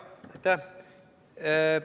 Aitäh!